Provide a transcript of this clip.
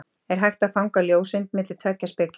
er hægt að fanga ljóseind milli tveggja spegla